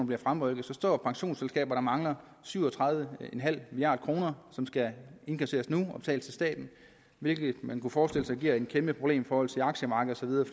bliver fremrykket så står pensionsselskaberne og mangler syv og tredive milliard kr som skal indkasseres nu og betales til staten hvilket man kan forestille sig giver et kæmpe problem i forhold til aktiemarkedet